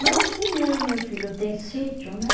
Mas assim mesmo, meu filho, tem sítio, né?